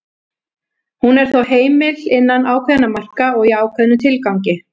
hún er þó heimil innan ákveðinna marka og í ákveðnum tilgangi